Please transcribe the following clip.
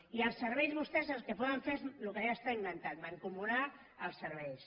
i per als serveis vostès el que poden fer és el que ja està inventat mancomunar els serveis